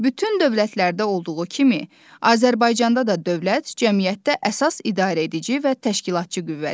Bütün dövlətlərdə olduğu kimi Azərbaycanda da dövlət cəmiyyətdə əsas idarəedici və təşkilatçı qüvvədir.